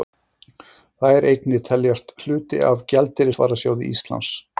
Þær eignir teljast hluti af gjaldeyrisvarasjóði Íslands.